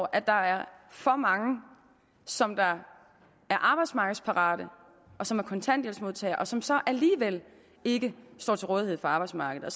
at der er for mange som er arbejdsmarkedsparate og som er kontanthjælpsmodtagere og som så alligevel ikke står til rådighed for arbejdsmarkedet